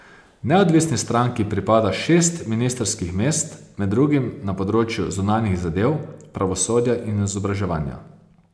Neodvisni stranki pripada šest ministrskih mest, med drugim na področju zunanjih zadev, pravosodja in izobraževanja.